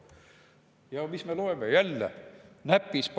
Ja mis me loeme jälle?